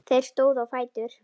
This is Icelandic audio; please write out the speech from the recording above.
Þeir stóðu á fætur.